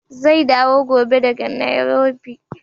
Zai dawo gobe daga Nairobi.